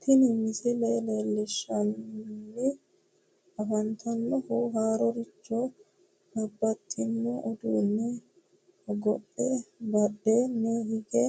Tini misile leellishshanni afantannohu harrichoho babbaxxino uduunne hogophe badheenni hige